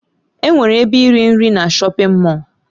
Enwere ebe iri nri na shọpin Mọll.